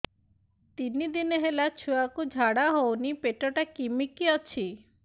ତିନି ଦିନ ହେଲା ଛୁଆକୁ ଝାଡ଼ା ହଉନି ପେଟ ଟା କିମି କି ଅଛି